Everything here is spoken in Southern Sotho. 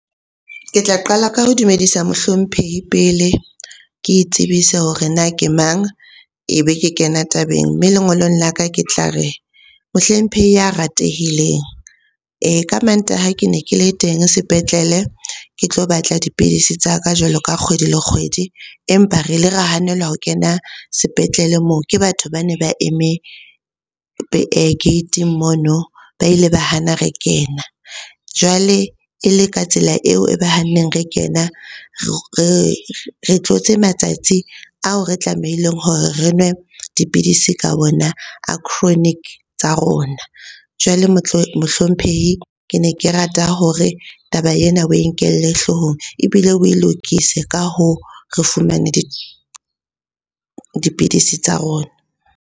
Ke tla qala ka ho dumedisa mohlomphehi pele. Ke tsebise hore na ke mang, ebe ke kena tabeng. Mme lengolong la ka ke tla re, mohlomphehi ya ratehileng. Ka Mantaha ke ne ke le teng sepetlele ke tlo batla dipidisi tsa ka jwalo ka kgwedi le kgwedi. Empa re ile ra hanelwa ho kena sepetlele moo ke batho ba ne ba eme gate-ing mono, ba ile ba hana re kena. Jwale e le ka tsela eo e ba hanneng re kena re tlotse matsatsi ao re tlamehileng hore re nwe dipidisi ka wona a chronic tsa rona. Jwale mohlomphehi ke ne ke rata hore taba ena oe nkelle hloohong ebile o lokise, ka hoo re fumane dipidisi tsa rona.